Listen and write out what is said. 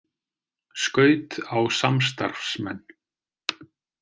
Skaut á samstarfsmenn